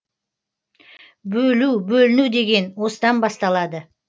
бөлу бөліну деген осыдан басталады